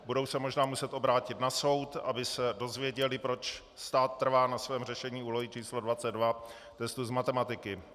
Budou se možná muset obrátit na soud, aby se dozvěděli, proč stát trvá na svém řešení úlohy číslo 22 testu z matematiky.